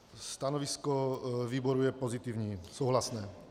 Stanovisko výboru je pozitivní, souhlasné.